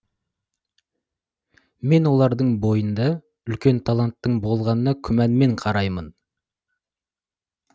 мен олардың бойында үлкен таланттың болғанына күмәнмен қараймын